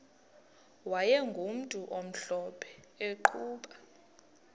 wayegumntu omhlophe eqhuba